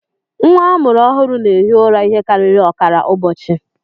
Nwa a mụrụ ọhụrụ na-ehi ụra ihe karịrị ọkara ụbọchị